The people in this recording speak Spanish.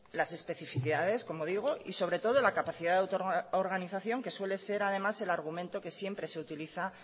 las especificidades como digo y sobre todo la capacidad de autoorganización que suele ser además el argumento que siempre se utiliza